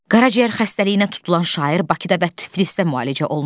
Qaraciyər xəstəliyinə tutulan şair Bakıda və Tiflisdə müalicə olunur.